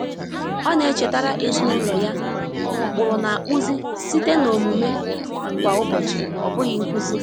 Ọ na-echetara ezinụlọ ya na ụkpụrụ na-akpụzi site na omume kwa ụbọchị, ọ bụghị nkuzi.